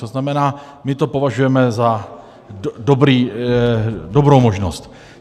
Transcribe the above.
To znamená, my to považujeme za dobrou možnost.